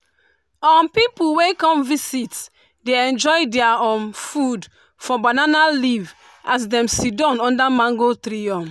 um pipu wey come visit dey enjoy their um food for banana leaf as dem sidon under mango tree. um